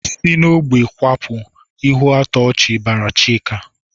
"Si n'ógbè kwapụ!" Ihuatọchị bara Chika.